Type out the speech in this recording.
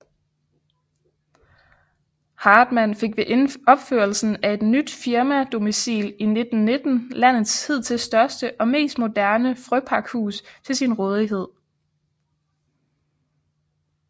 Hartmann fik ved opførelsen af et nyt firmadomicil i 1919 landets hidtil største og mest moderne frøpakhus til sin rådighed